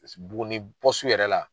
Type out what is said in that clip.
Buguni yɛrɛ la.